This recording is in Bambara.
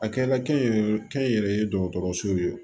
A kɛra kɛnyɛrɛye kɛ n yɛrɛ ye dɔgɔtɔrɔsow ye